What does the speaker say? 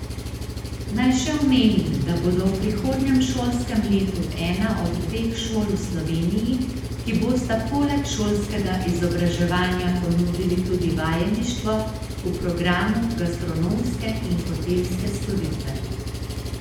Naj še omenim, da bomo v prihodnjem šolskem letu ena od dveh šol v Sloveniji, ki bosta poleg šolskega izobraževanja ponudili tudi vajeništvo v programu gastronomske in hotelske storitve.